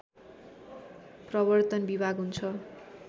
प्रवर्तन विभाग हुन्छ